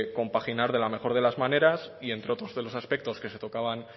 compaginar de la mejor de las maneras y entre otros de los aspectos que se tocaban